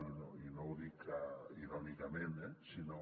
i no ho dic irònicament eh sinó